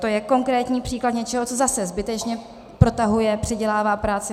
To je konkrétní příklad něčeho, co zase zbytečně protahuje, přidělává práci.